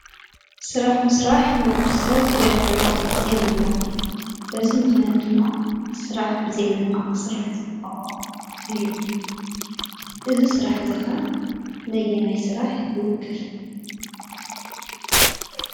ስራሕ ምስራሕ ንወዲ ሰብ የክብሮ የንብሮ እዚ ምክንያት ድማ ስራሕ ብዛይምንዓቅ ክስራሕ ዝግበኦ እዩ፡፡ እዚ ስራሕ እዚ ከ ነየናይ ስራሕ ይውክል?